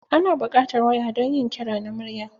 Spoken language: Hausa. Ana buƙatar waya don yin kira na murya.